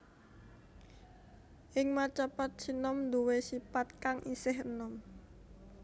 Ing Macapat sinom nduwé sipat kang isih enom